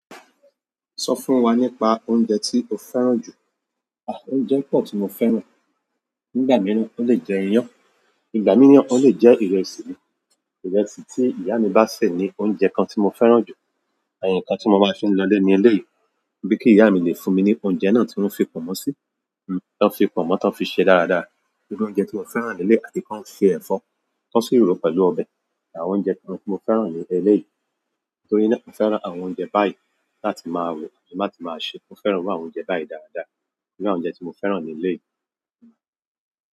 Sọ fún wa nípa oúnjẹ tí o fẹ́ràn jù. Oúnjẹ pọ̀ tí mo fẹ́ràn. Nígbà mìíràn, ó lè jẹ́ iyán, ìgbà mìíràn ó lè jẹ́ ìrẹsì ni. Ìrẹsì tí ìyá mi bá sè ni oúnjẹ kan tí mo fẹ́ràn jù. Àyè nǹkan tí mo máa fi ń lọlé ní ilé yìí bí kí ìyá mi lè fún mi ní oúnjẹ náà tí wọ́n fi pọ̀nmọ́ sí, tí wọ́n fi pọ̀nmọ́ tán, fi ṣe dáradára. Irú oúnjẹ tí mo fẹ́ràn ní ilé àti kí wọ́n fi ẹ̀fọ́, k'ọ́n sì ròó pẹ̀lú ọbẹ̀. Àwọn oúnjẹ tí mo tí mo fẹ́ràn ní eléyìí. Torí náà, mo fẹ́ràn àwọn oúnjẹ báyìí láti máa rò, láti máa ṣe. Mo fẹ́ràn àwọn oúnjẹ báyìí dáradára. Irú àwọn oúnjẹ tí mo fẹ́ràn leléyìí.